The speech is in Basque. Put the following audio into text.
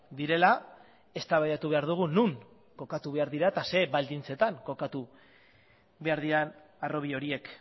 direla eztabaidatu behar dugu non kokatu behar dira eta zer baldintzetan kokatu behar diren harrobi horiek